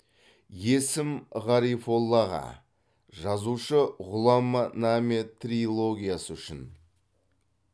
есім ғарифоллаға жазушы ғұлама наме трилогиясы үшін